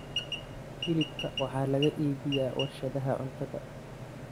Hilibka waxaa laga iibiyaa warshadaha cuntada.